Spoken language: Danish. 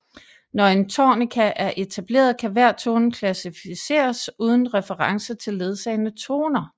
Når en tonika er etableret kan hver tone klassificeres uden reference til ledsagende toner